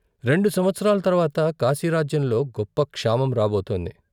"రెండు సంవత్సరాల తర్వాత కాశీరాజ్యంలో గొప్ప క్షామం రాబోతుంది.